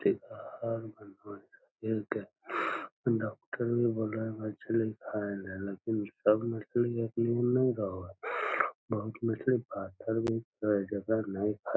ठीक डॉक्टर भी बोले है मछली खाई ले लेकिन सब महली एक निहन नहीं रहे हो बहुत महली पातर भी रहा हो जेकरा नहीं खाये --